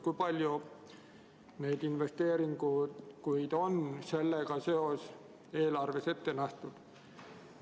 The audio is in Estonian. Kui palju investeeringuid on sellega seoses eelarves ette nähtud?